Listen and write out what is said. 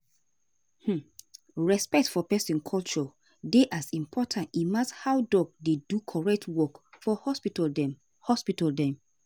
hmmm respect for peson culture dey as important emas how doc dey do correct work for hospital dem. hospital dem.